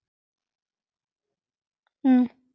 Okkur er nóg boðið